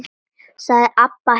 sagði Abba hin.